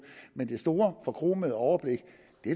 men det store forkromede overblik